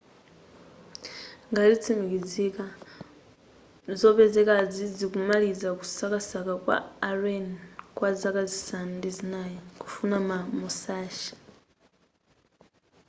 ngati zitsimikizika zopezekazi zikumaliza kusakasaka kwa a alleni kwa zaka zisanu ndi zinai kufuna za musashi